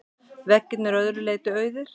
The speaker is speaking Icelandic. Veggirnir að öðru leyti auðir.